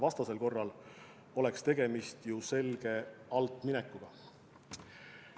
Vastasel korral oleks tegemist selge altminekuga.